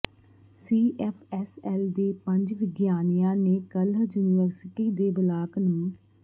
CFSL ਦੇ ਪੰਜ ਵਿਗਿਆਨੀਆਂ ਨੇ ਕੱਲ੍ਹ ਯੂਨੀਵਰਸਿਟੀ ਦੇ ਬਲਾਕ ਨੰ